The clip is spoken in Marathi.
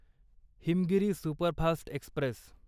Himgiri superfast Express